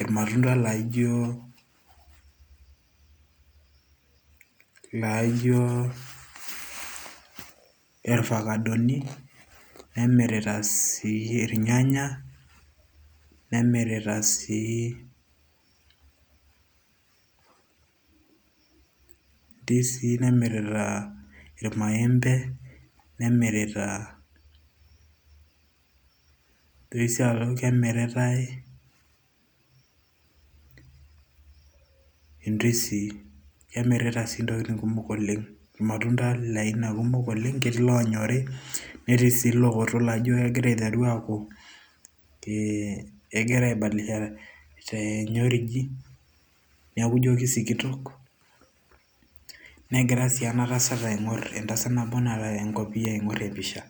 irmatunda laijolaijo irfakadoni, nemirita sii irnyanya, nemirita sii ndisii nemirita irmaembe nemirita nitoki sii aaku kemititay indisii kemirita sii intokitin kumok oleng irmatunda le aina kumok oleng ketii iloonyori netii sii iloowoto laijo kegira aiteru aaku kee kegira ai badilisha tenyoriji neeku ijo kisikitok negira sii enatasat aing'orr entasat nabo naata enkopiyia aing'orr empisha.